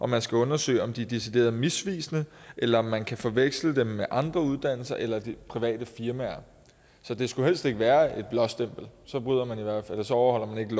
man skal undersøge om de er decideret misvisende eller om man kan forveksle dem med andre uddannelser eller private firmaer så det skulle helst ikke være et blåstempel så overholder man ikke